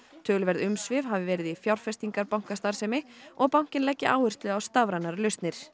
töluverð umsvif hafi verið í fjárfestingarbankastarfsemi og bankinn leggi áherslu á stafrænar lausnir